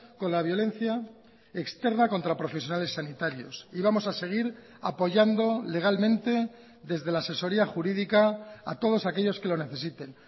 con la violencia externa contra profesionales sanitarios y vamos a seguir apoyando legalmente desde la asesoría jurídica a todos aquellos que lo necesiten